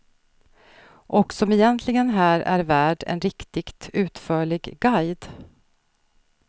Och som egentligen här är värd en riktigt utförlig guide.